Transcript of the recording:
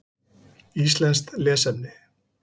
Íslenskt lesefni: